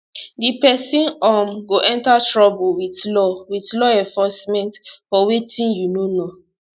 di pesin um go enter trouble wit law wit law enforcement for wetin you no know